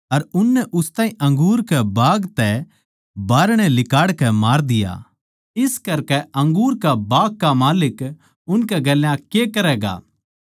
अर उननै उस ताहीं अंगूर के बाग तै बाहरणै लिकाड़कै मार दिया इस करकै अंगूर के बाग का माल्लिक उनकै गेल्या के करैगा